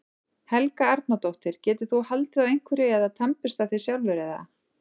Helga Arnardóttir: Getur þú haldið á einhverju eða tannburstað þig sjálfur eða?